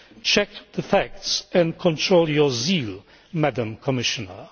Check the facts and control your zeal, Madam Commissioner.